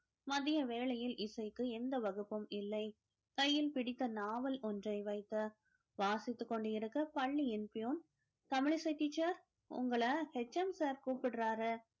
மதிய வேளையில் இசைக்கு எந்த வகுப்பும் இல்லை கையில் பிடித்த நாவல் ஒன்றை வைத்து வாசித்துக் கொண்டிருக்க பள்ளியின் தமிழிசை teacher உங்களை HM sir கூப்பிடுறாரு